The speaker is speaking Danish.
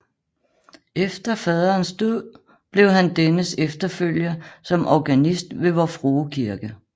Efter faderens død blev han dennes efterfølger som organist ved Vor Frue Kirke